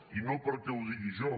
i no perquè ho digui jo